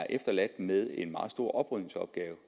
efterladt med en meget stor oprydningsopgave